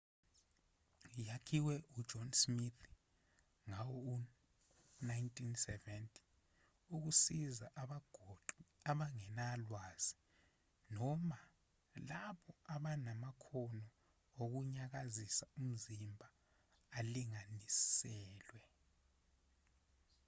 yakhiwe ujohn smith ngawo-1970 ukusiza abagoqi abangenalwazi noma labo abanamakhono okunyakazisa umzimba alinganiselwe